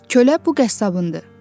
Kölə bu qəssabındır.